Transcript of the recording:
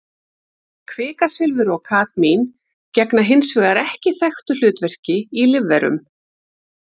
Kvikasilfur og kadmín gegna hins vegar ekki þekktu hlutverki í lífverum.